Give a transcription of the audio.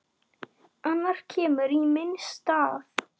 Annar kemur í minn stað.